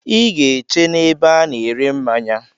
I ga-eche n'ebe a na-ere mmanya.